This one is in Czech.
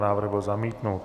Návrh byl zamítnut.